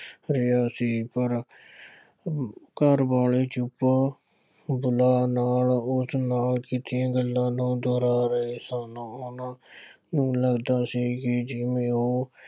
ਅਤੇ ਅਸੀ ਪਰ ਘਰ ਵਾਲੇ ਚੁੱਪ ਗੱਲਾਂ ਨਾਲ ਉਸ ਨਾਲ ਕੀਤੀਆਂ ਗੱਲਾਂ ਨੂੰ ਦੁਹਰਾ ਰਹੇ ਸਨ। ਇਉਂ ਲੱਗਦਾ ਸੀ ਕਿ ਜਿਉਂ ਇਉਂ